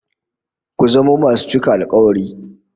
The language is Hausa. Ku zamo masu cika alkawari